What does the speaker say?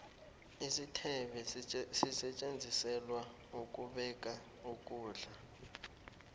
isithebe sisetjenziselwa ukubeka ukulda